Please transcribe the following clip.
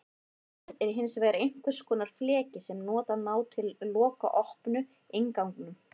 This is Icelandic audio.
Hurð er hins vegar einhvers konar fleki sem nota má til að loka opinu, innganginum.